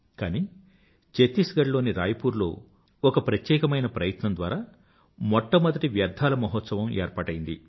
కానీ చత్తీస్ గడ్ లోని రాయ్ పూర్ లో ఒక ప్రత్యేకమైన ప్రయత్నం ద్వారా మొట్టమొదటి వ్యర్థాల మహోత్సవం ఏర్పాటైంది